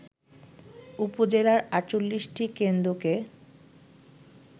উপজেলার ৪৮টি কেন্দ্রকে